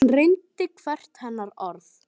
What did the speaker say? Hann reyndi hvert hennar orð.